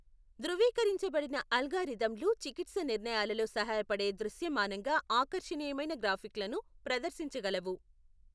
ధృవీకరించబడిన అల్గారిథమ్లు చికిత్స నిర్ణయాలలో సహాయపడే దృశ్యమానంగా ఆకర్షణీయమైన గ్రాఫిక్లను ప్రదర్శించగలవు.